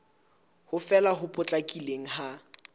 ho fela ho potlakileng ha